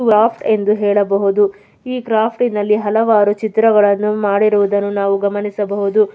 Craft ಎಂದು ಹೇಳಬಹುದು. ಈ ಕ್ರಾಫ್ಟ್ ನಲ್ಲಿ ಹಲವಾರು ಚಿತ್ರಗಳನ್ನು ಮಾಡಿರುವುದನ್ನು ನಾವು ಗಮನಿಸಬಹುದು.